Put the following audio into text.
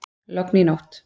Logn í nótt